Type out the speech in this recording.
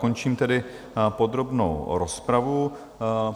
Končím tedy podrobnou rozpravu.